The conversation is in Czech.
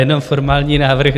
Jenom formální návrh.